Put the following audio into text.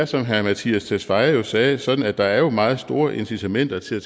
som herre mattias tesfaye sagde sådan at der er meget store incitamenter til at